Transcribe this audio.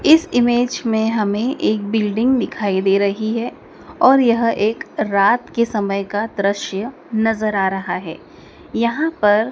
इस इमेज में हमें एक बिल्डिंग दिखाई दे रही है और यह एक रात के समय का दृश्य नजर आ रहा है यहां पर--